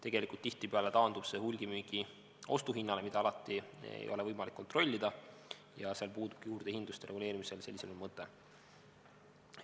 Tegelikult tihtipeale taandub see hulgimüügi ostuhinnale, mida alati ei ole võimalik kontrollida, ja seal puudubki juurdehindluste reguleerimisel sellisena mõte.